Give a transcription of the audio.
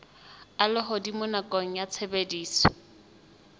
a lehodimo nakong ya tshebediso